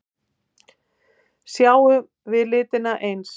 Sjáum við litina eins?